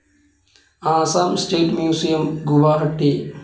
Assam state museum, Guwahati